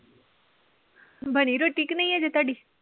ਬਣੀ ਰੋਟੀ ਕਿ ਨਹੀਂ ਅਜੇ ਤੁਹਾਡੀ?